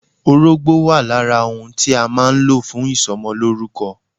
Orógbó wà lára ohun tí a má a nlò fún ìsomolórúko